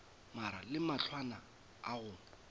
mare le mahlwana a go